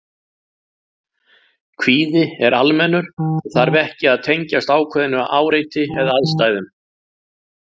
Kvíði er almennur og þarf ekki að tengjast ákveðnu áreiti eða aðstæðum.